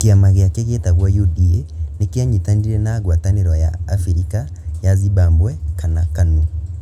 Kĩama gĩake gĩtagwo UDA nĩ kĩanyitanĩire na ngwatanĩro ya Abirika ya Zimbabwe kana KANU.